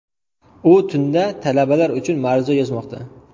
U tunda talabalar uchun ma’ruza yozmoqda”.